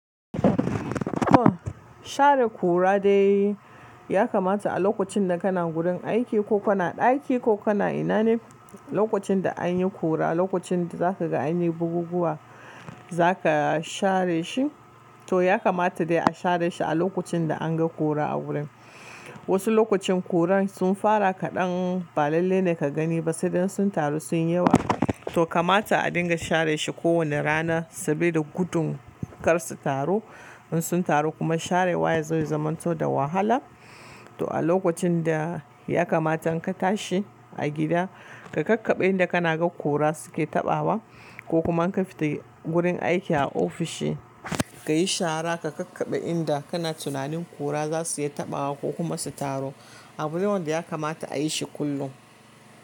Share kura dai ya kamata a lokacin da kana gurin aiki ko kana ɗaki ko kana ina ne, lokacin da anyi kura, lokacin da zaka ga anyi buguguwa zaka share shi to ya kamata dai a share shi a lokacin da an ga kura a gurin. Wasu lokacin kuran sun fara kadan ba lallai na kagani ba saida in sun taro sun yi yawa, toh kamata a dinga share shi kowanda rana sabode gudu kar su taro, in sun taro kuma sharewan yazo ya zama da wahala to a lokacin da ya kamata in ka tashi a gida, ka kakkaɓe inda kana ga kura suke taɓawa ko kuma in ka fita gurin aiki a ofishi ka yi shara ka kakkaɓe inda kana tunanin kura za su iya taɓawa ko kuma su taro abu ne wanda ya kamata a yi shi kullum.